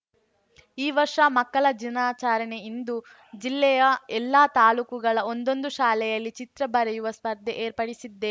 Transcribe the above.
ಈ ವರ್ಷ ಮಕ್ಕಳ ದಿನಾಚಾರಣೆಯಿಂದು ಜಿಲ್ಲೆಯ ಎಲ್ಲಾ ತಾಲೂಕುಗಳ ಒಂದೊಂದು ಶಾಲೆಯಲ್ಲಿ ಚಿತ್ರ ಬರೆಯುವ ಸ್ಪರ್ಧೆ ಏರ್ಪಡಿಸಿದ್ದೇ